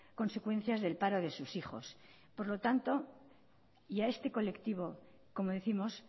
consecuencias del paro de sus hijos por lo tanto y a este colectivo como décimos